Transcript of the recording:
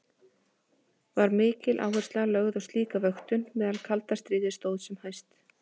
Var mikil áhersla lögð á slíka vöktun meðan kalda stríði stóð sem hæst.